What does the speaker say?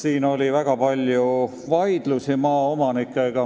On olnud väga palju vaidlusi maaomanikega.